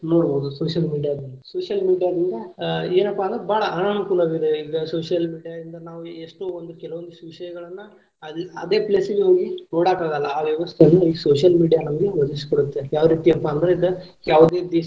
ನೋಡಬಹುದು social media ದಲ್ಲಿ social media ದಿಂದ ಆ ಏನಪಾ ಅಂದ್ರ ಬಾಳ ಅನಾನುಕೂಲವಿದೆ ಇಗ social media ಯಿಂದ ನಾವು ಎಷ್ಟೋ ಒಂದ್ ಕೆಲವೊಂದಷ್ಟ ವಿಷಯಗಳನ್ನ ಅದೆ ಅದೆ place ಗೆ ಹೋಗಿ ನೋಡಾಕಾಗಲ್ಲಾ ಆ ವ್ಯವಸ್ಥೆಯನ್ನ ಈ social media ನಮಗೆ ಒದಗಿಸಿ ಕೊಡುತ್ತೆ ಯಾವರೀತಿಪಾ ಅಂದ್ರ ಇದ.